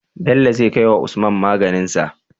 Bello zai kai wa usman maganin shi?